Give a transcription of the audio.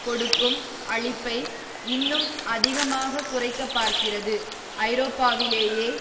கொடுக்கும் அளிப்பை இன்னும் அதிகமாக குறைக்க பார்க்கிறது ஐரோப்பாவிலேயே